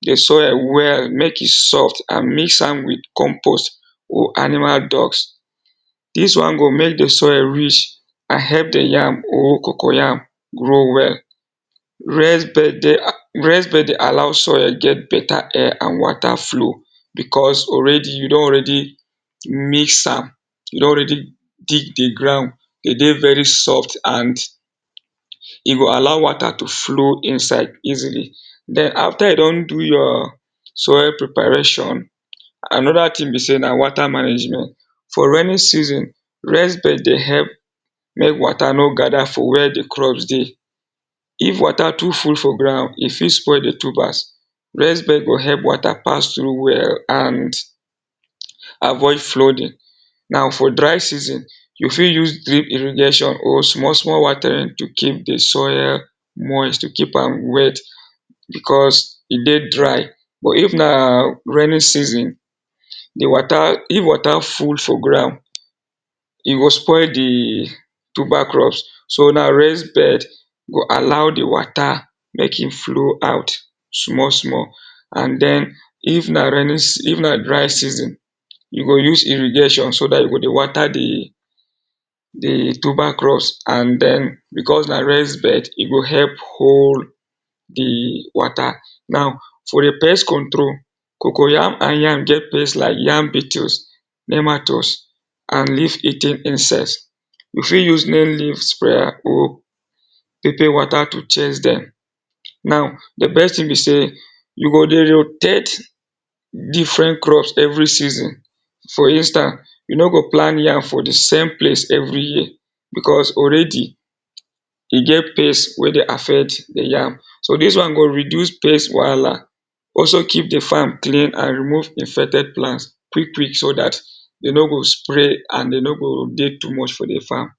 di soil well make e soft and mix am with compost or animal dungs. Dis one go make di soil rich and help dey yam or cocoyam grow well. Raised bed dey allow soil get better air and water flow because already you don already mix am, you don already dig the ground, de dey very soft and e go allow water to flow inside easily. Then after you don do your soil preparation, another thing be sey na water management. For rainy season, raised bed dey help make water no gather for where dey crops dey. If water too full for ground e fit spoil the tubers, raised bed go help water pass through well and avoid flooding. now for dey season you fit use drip irrigation or small small watering to keep dey soil moist, to keep am wet because e dey dry but if na raining season, dey water, if water full for ground e go spoil dey tuber crops so now raised bed go allow the water make e flow out small small and then if na dry season, you go use irrigation so dat you go dey water dey dey tuber crops and then because na raised bed e go help hold dey water. Now for dey pest control cocoyam and yam get pests like yam beetles, nematodes and leaf-eating insects. you fit use nail leaves sprayer or pepper water to chase dem. Now, dey best thing be sey you go dey rotate different crops every season for instance, you no go plant yam for dey same place every year because already e get pest wey dey affect dey yam, so dis wan go reduce pest wahala, also keep dey farm clean and remove infected plants quick quick so dat e no go spread and e no go dey too much for dey farm.